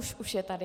Už je tady.